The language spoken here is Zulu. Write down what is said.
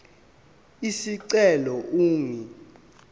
isicelo ingu r